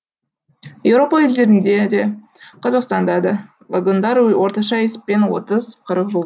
еуропа елдерінде де қазақстанда да вагондар орташа есеппен отыз қырық жыл